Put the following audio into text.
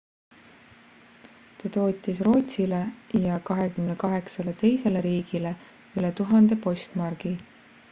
ta tootis rootsile ja 28 teisele riigile üle 1000 postmargi